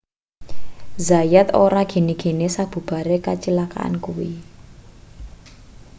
zayat ora gene-gene sabubare kacilakan kuwi